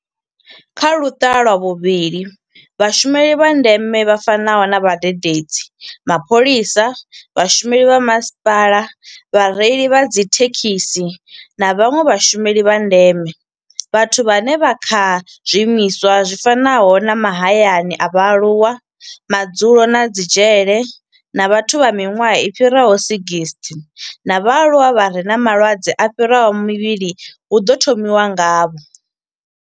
Kha Luṱa lwa vhuvhili, Vhashumeli vha ndeme vha fanaho na vhadededzi, mapholisa, vhashumeli vha masipala, vhareili vha dzithe khisi na vhanwe vhashumeli vha ndeme vhathu vhane vha vha kha zwiimiswa zwi fanaho na mahayani a vhaaluwa, madzulo na dzi dzhele na vhathu vha miṅwaha i fhiraho 60 na vhaaluwa vha re na malwadze a fhiraho mavhili hu ḓo thomiwa ngavho.